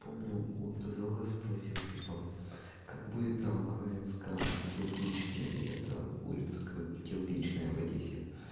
помню у друга спросил типа как будет на украинском кирпичный это улица кирпичная в одессе